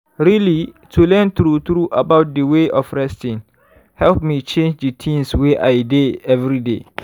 really to learn true true about d way of resting help me change d things wey i dey everyday.